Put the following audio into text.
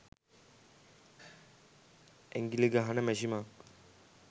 ඇඟිලි ගහන මැෂිමක්